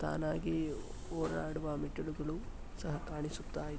ತಾನಾಗಿ ಓಡಾಡುವ ಮೆಟ್ಟಿಲುಗಳು ಸಹ ಕಾಣಿಸುತ್ತಾ ಇ--